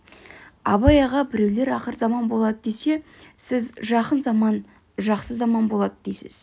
абай аға біреулер ақырзаман болады десе сіз жақын заман жақсы заман болады дейсіз